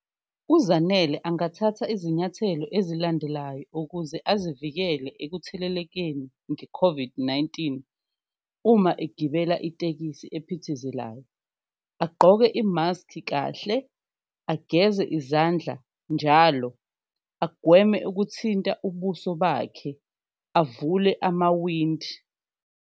UZanele angathatha izinyathelo ezilandelayo ukuze azivikele ekuthelelekeni nge-COVID-19 uma egibela itekisi ephithizelayo, agqoke imaski kahle, ageze izandla njalo, agweme ukuthinta ubuso bakhe, avule amawindi.